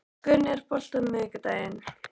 Guðni, er bolti á miðvikudaginn?